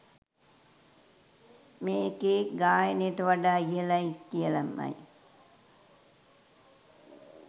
මේකෙ ගායනයට වඩා ඉහළයි කියලමයි